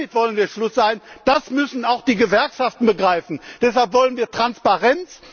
Damit wollen wir Schluss machen, das müssen auch die Gewerkschaften begreifen. Deshalb wollen wir Transparenz!